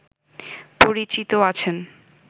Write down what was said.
পরিচিত আছেন